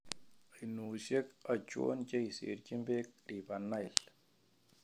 Oinoshek achon cheiserchin peek River Nile?